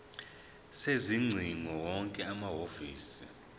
sezingcingo wonke amahhovisi